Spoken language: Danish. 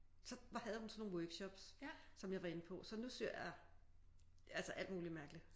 Så havde hun sådan nogle workshops som jeg var inde på så nu syr jeg altså alt muligt mærkeligt